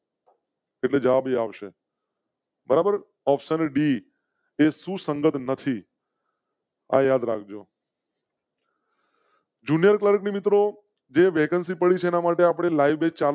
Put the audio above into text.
એટલે જવાબ આવશે. બરાબર option d એ સુસંગત નથી. યાદ રાખ જો. જુનિયર ક્લાર્ક મિત્રો જે vacancy પડી સેના માટે આપણે લાઇવ batch ચાલુ.